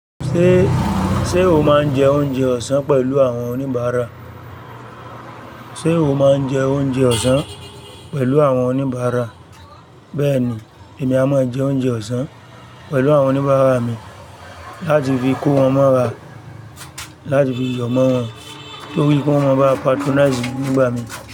Ṣé, sé o máa ń jẹ oúnjẹ ọ̀sán pẹ̀lú àwọn oníbàárà? Sé o máa ń jẹ oúnjẹ ọ̀sán pẹ̀lú àwọn oníbàárà? Bẹ́ẹ̀ni, èmi a máa jẹ oúnjẹ ọ̀sán pẹ̀lú àwọn oníbàárà mi láti fi kó wọn mọ́ra, láti fi yọ̀ mọ́ wọn torí kí wọ́n máa ba patronize mi gbígbà mi.